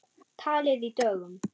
Talið í dögum.